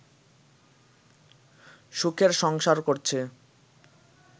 সুখের সংসার করছে